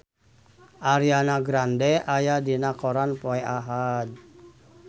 Ariana Grande aya dina koran poe Ahad